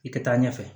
I ka taa ɲɛfɛ